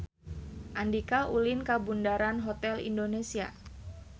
Andika ulin ka Bundaran Hotel Indonesia